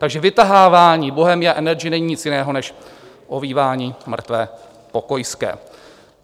Takže vytahování Bohemia Energy není nic jiného než ovívání mrtvé pokojské.